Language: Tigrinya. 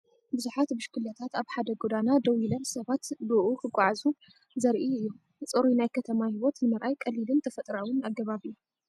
ብዙሓት ብሽክለታታት ኣብ ሓደ ጎደና ደው ኢለን ሰባት ብእኡ ክጓዓዙን ዘርኢ እዩ። ጽሩይ ናይ ከተማ ህይወት ንምርኣይ ቀሊልን ተፈጥሮኣውን ኣገባብ እዩ።